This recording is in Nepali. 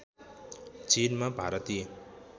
चीनमा भारतीय